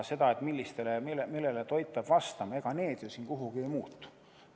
Reeglid, millele toit peab vastama, ega need ju ei muutu.